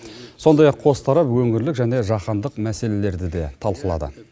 сондай ақ қос тарап өңірлік және жаһандық мәселелерді де талқылады